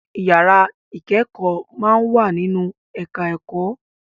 Ìyára ìkẹ́kọ̀ọ́ máa ń wà nínú ẹ̀ká ẹ̀kọ́